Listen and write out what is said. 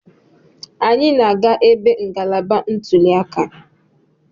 Anyị na-aga ebe ngalaba ntuli aka.